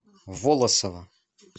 волосово